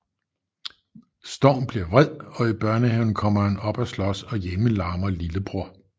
Storm bliver vred og i børnehaven kommer han op at slås og hjemme larmer lillebror